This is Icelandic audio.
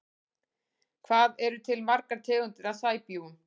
Hvað eru til margar tegundir af sæbjúgum?